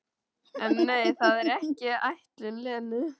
En nei, það var ekki ætlun Lenu.